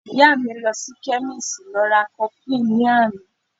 Ìyá mi lọ sí chemist lọ ra cofflin ní àná